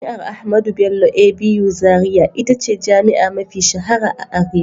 Jami'ar Ahmadu Bello (ABU) Zaria ita ce jami'a mafi shahara a arewa.